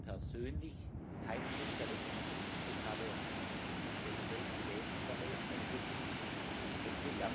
Ich bin zwar persönlich kein Spezialist, aber ich habe den Bericht gelesen und dabei einiges gelernt.